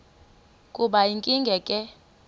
kube yinkinge ke